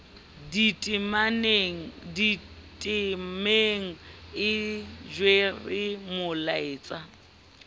ditemeng e jere molaetsa o